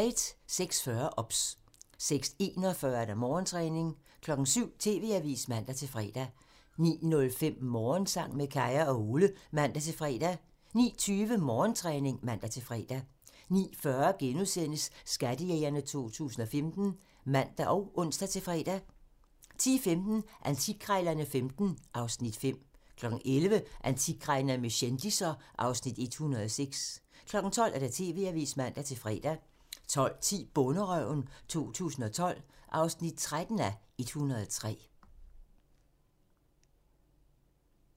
06:40: OBS 06:41: Morgentræning 07:00: TV-avisen (man-fre) 09:05: Morgensang med Kaya og Ole (man-fre) 09:20: Morgentræning (man-fre) 09:40: Skattejægerne 2015 *(man og ons-fre) 10:15: Antikkrejlerne XV (Afs. 5) 11:00: Antikkrejlerne med kendisser (Afs. 106) 12:00: TV-avisen (man-fre) 12:10: Bonderøven 2012 (13:103)